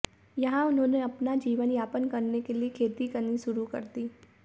यहां उन्होंने अपना जीवन यापन करने के लिए खेती करनी शुरू कर दी